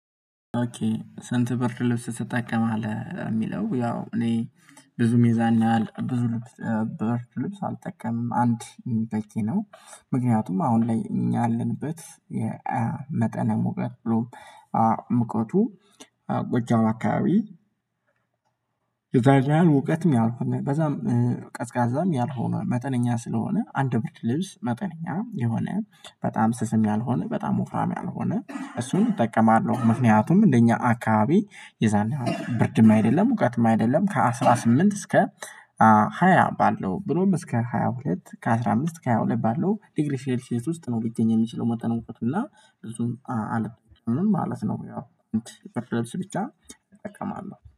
ኦኬ ሰንት በርት ልብስ ስትጠቀም አለ የሚለው ያው እኔ ብዙም የዛና ያህል ብዙ በርት አልጠቀምም አንድ በቂ ነው። ምክንያቱም አሁን ላይ ያለንበት መጠነ ሙቀት ብሎ ሙቀቱ ጎጃው አካባቢ። እውቀትም ያልኩናል በዛም ቀዝቃዛም ያልሆነ መጠነኛ ስለሆነ አንድ ብርድ ልብስ መጠነኛ የሆነ በጣም ስስም ያልሆነ በጣም ወፍራም ያልሆነ እሱን እጠቀማለሁ። ምክንያቱም እንደኛ አካባቢ የዛን ብርድም አይደለም እውቀትም አይደለም ከአስራ ስምንት እስከ ሃያ ባለው ብሎም እስከ ሃያ ሁለት ከአስራ አምስት ከሃያ ሁለት ባለው ዲግሪ ሴልሺየስ ውስጥ ነው የሚገኝ የሚችለው። መጠን እውቀቱና ብዙም አደለም ማለት ነው። ያው ክፍለ ስብቻ እጠቀማለሁ